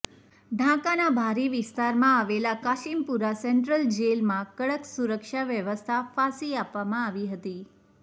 ઢાકાના બહારી વિસ્તારમાં આવેલ કાશીમપુર સેન્ટ્રલ જેલમાં કડક સુરક્ષા વ્યવસ્થા ફાંસી આપવામાં આવી હતી